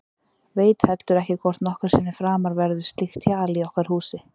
Veit heldur ekki hvort nokkru sinni framar verður slíkt hjal í okkar húsi.